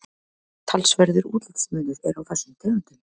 talsverður útlitsmunur er á þessum tegundum